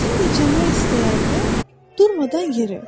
Sən dincəlmək istəyəndə durmadan yeri.